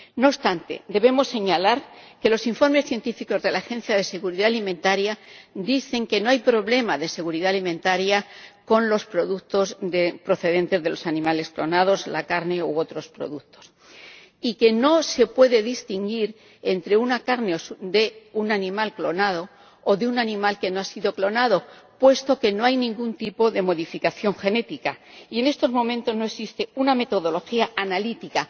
No obstante, debemos señalar que los informes científicos de la Agencia de Seguridad Alimentaria indican que no hay problemas de seguridad alimentaria con los productos procedentes de los animales clonados ―la carne u otros productos― y que no se puede distinguir entre la carne de un animal clonado y la de un animal que no ha sido clonado, puesto que no hay ningún tipo de modificación genética y en estos momentos no existe una metodología analítica